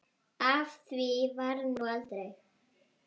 Af því varð nú aldrei.